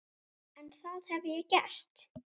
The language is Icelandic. En það hef ég gert.